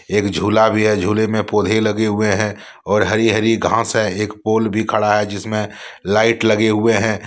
एक झूला भी है झूले में पौधे लगे हुए हैं और हरी हरी घास है एक पोल भी खड़ा है जिसमें लाइट लगे हुए हैं।